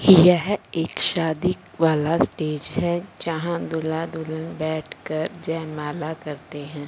यह एक शादी वाला स्टेज है जहां दूल्हा दुल्हन बैठकर जयमाला करते हैं।